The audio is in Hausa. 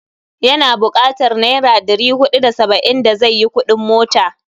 Ya na bukatar naira ɗri huɗu da saba'in da zai yi kuɗin mota.